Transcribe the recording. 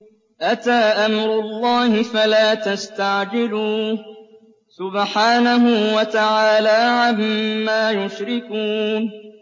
أَتَىٰ أَمْرُ اللَّهِ فَلَا تَسْتَعْجِلُوهُ ۚ سُبْحَانَهُ وَتَعَالَىٰ عَمَّا يُشْرِكُونَ